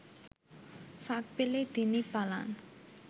ফাঁক পেলেই তিনি পালান